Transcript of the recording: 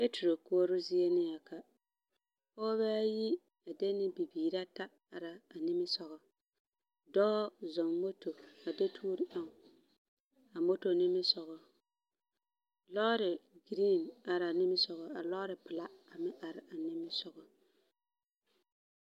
Peturo koͻroo zie nea ka, pͻgebԑԑyi a de ne bibiiraata ara a nimisogͻ. Dͻͻ zͻͻŋ moto a do toori eŋ a moto nimisogo. Lͻͻre giriiŋ ara a nimisogo, a lͻͻre pela a meŋ are a nimisogo.